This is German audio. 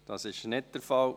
– Dies ist nicht der Fall.